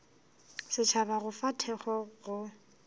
setšhaba go fa thekgo go